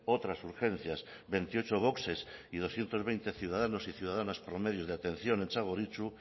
otras urgencias veintiocho boxes y doscientos veinte ciudadanos y ciudadanas promedios de atención en txagorritxu